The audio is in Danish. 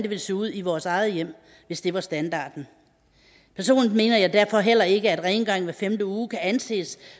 ville se ud i vores eget hjem hvis det var standarden personligt mener jeg derfor heller ikke at rengøring hver femte uge kan anses